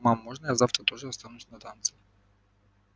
мама можно я завтра тоже останусь на танцы